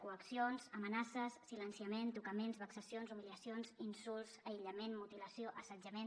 coaccions amenaces silenciament tocaments vexacions humiliacions insults aïllament mutilació assetjament